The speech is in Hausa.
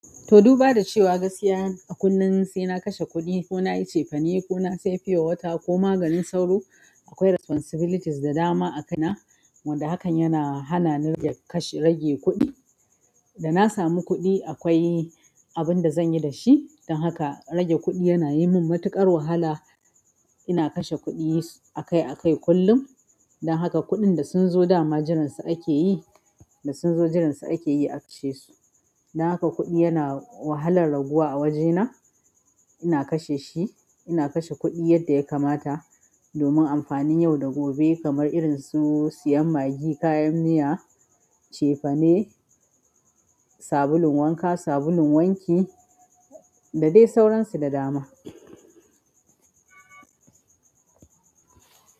To, duba da cewa gaskiya a kullum sai na kashe kuɗi ko na yi cefane ko na saye fiyowata ko maganin sauro, akwai responsibilities da dama a kai na wanda hakan yana hana ni daga kashe rage kuɗi. Da na samu kuɗi akwai abinda zanyi dashi don haka rage kuɗi yana yi min matuƙar wahala. Ina kashe kuɗi akai akai kullum. Don haka kuɗin da sun zo dama jiransa ake yi, da sun zo jiransa ake yi akashe su. Don haka kuɗi yana wahalan raguwa a wuri na ina kashe shi, ina kashe kuɗi yadda ya kamata domin amfanin yau da gobe kamar irin su siyan maggi, kayan miya, cefane, sabulun wanka, sabulun wanki da dai sauransu da dama.